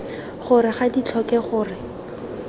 gore ga di tlhoke gore